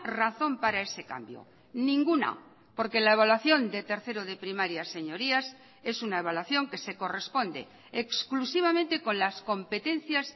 razón para ese cambio ninguna porque la evaluación de tercero de primaria señorías es una evaluación que se corresponde exclusivamente con las competencias